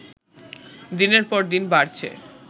দিনের পর দিন বাড়ছে